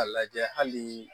A lajɛ hali